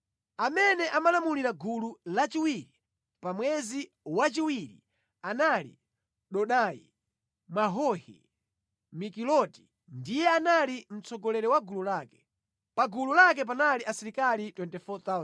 Amene amalamulira gulu lachiwiri pa mwezi wachiwiri anali Dodai Mwahohi; Mikiloti ndiye anali mtsogoleri wa gulu lake. Pa gulu lake panali asilikali 24,000.